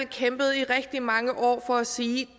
kæmpet i rigtig mange år for at sige